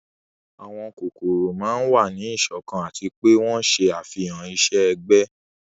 àwọn kókórò máa n wa ni iṣọkan ati pe wọn ṣe afihan iṣẹ-ẹgbẹ